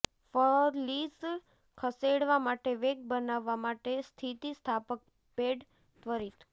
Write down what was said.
ફલિઝ ખસેડવા માટે વેગ બનાવવા માટે સ્થિતિસ્થાપક પેડ ત્વરિત